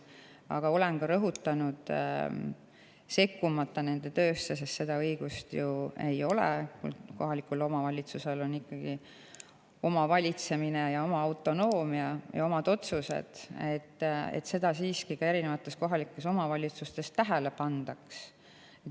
Aga olen ka rõhutanud, sekkumata nende töösse, sest seda õigust mul ju ei ole, kohalikul omavalitsusel on ikkagi oma valitsemine, oma autonoomia ja omad otsused, et seda tuleks siiski ka kohalikes omavalitsustes tähele panna.